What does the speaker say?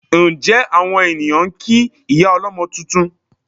Ǹjẹ́ àwọn ènìyàn ń kí ìyá ọlọ́mọ tuntun?